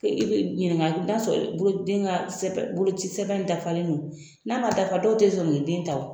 I be ɲininka n'a sɔrɔ sɛbɛn , den ka boloci sɛbɛn dafalen don, n'a ma dafa dɔw te sɔn k'i den ta.